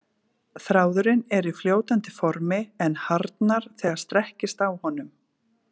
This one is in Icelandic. Þráðurinn er í fljótandi formi en harðnar þegar strekkist á honum.